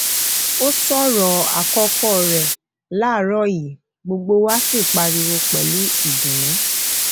ó sọ ọrọ àkọkọ rẹ láàrọ yìí gbogbo wa sí pariwo pẹlú ìdùnnú